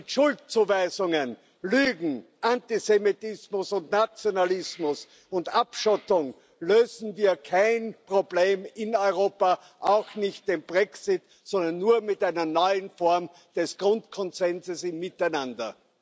Mit Schuldzuweisungen, Lügen, Antisemitismus, Nationalismus und Abschottung lösen wir kein Problem in Europa, auch nicht den Brexit, sondern nur mit einer neuen Form des Grundkonsenses miteinander.